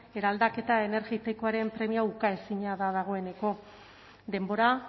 eraldaketa energetikoaren premia ukaezina da dagoeneko denbora